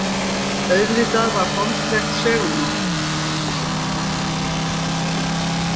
Auðvitað var holdlegt segulmagn.